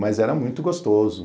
Mas era muito gostoso.